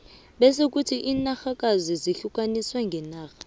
bese kuthi inarhakazi zihlukaniswe ngenarha